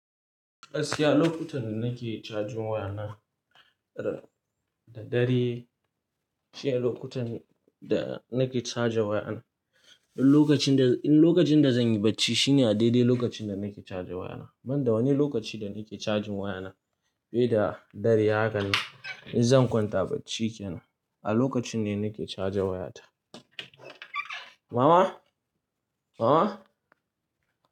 Asiya lokutan nake cajin wayana. Da dare shi ne lokutan da nake caja wayana. Lokacin da, lokacin da zan yi bacci shi ne a daidai lokacin da nake caja wayana. Ban da wani lokaci da nake cajin wayana. Bida dare haka ne in zan kwanta bacci kenan. A lokacin ne nake caja wayata. Mama! Mama!